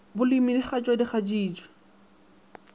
bolemi di kgatšwa di kgatšitšwe